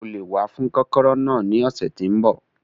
O lè wá fún kọ́kọ́rọ́ náà ní ọ̀sẹ̀ tí ń bọ̀.